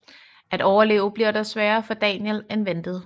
At overleve bliver dog sværere for Daniel end ventet